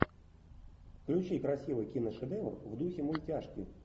включи красивый киношедевр в духе мультяшки